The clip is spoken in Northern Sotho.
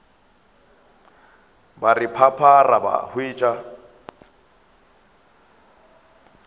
ba re phaphara ba hwetša